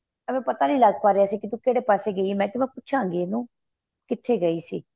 ਐਵੇ ਪਤਾ ਨਹੀਂ ਲੱਗ ਪਾ ਰਿਹਾ ਸੀ ਕਿ ਤੂੰ ਕਿਹੜੇ ਪਾਸੇ ਗਈ ਏ ਮੈਂ ਕਿਹਾ ਮੈਂ ਪੁੱਛਾ ਗਈ ਇਹਨੂੰ ਕਿਥੇ ਗਈ ਸੀ